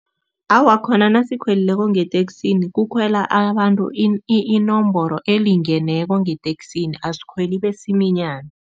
Awa, khona nasikhwelileko ngeteksini kukhwelwa abantu inomboro elingeneko ngeteksini, asikhweli besiminyane.